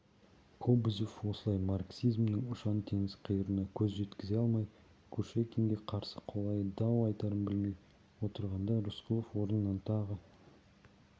кобозев осылай марксизмнің ұшан-теңіз қиырына көз жеткізе алмай кушекинге қарсы қалай дау айтарын білмей отырғанда рысқұлов орнынан тағы